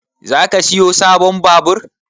Zaka siyo sabon babur?